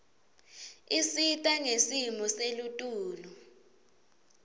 isita ngesimo selitulu